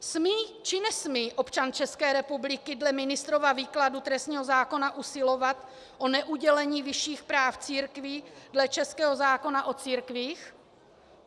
Smí, či nesmí občan České republiky dle ministrova výkladu trestního zákona usilovat o neudělení vyšších práv církvi dle českého zákona o církvích?